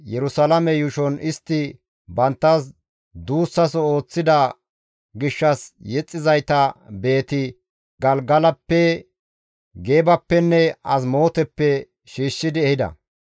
Yerusalaame yuushon istti banttas duussaso ooththida gishshas yexxizayta Beeti-Galgalappe, Geebappenne Azimooteppe shiishshidi ehida.